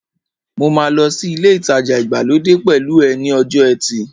Mo máa lọ sí ilé ìtajà ìgbàlódé pẹ̀lú ẹ ní ọjọ́ ẹtì